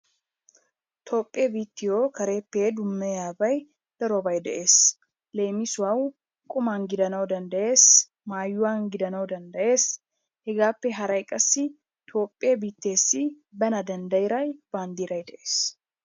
Toophphee biittiyo kareppe dummayiyabay darobay de'ees. Leemissuwawu qumman gidana danddayees, maayuwan gidana danddayees, hegaappe haray qassi Toophphee biitteessi bana danddayida banddiray de'ees.